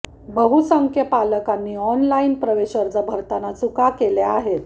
बहुसंख्य पालकांनी ऑनलाइन प्रवेश अर्ज भरताना चुका केल्या आहेत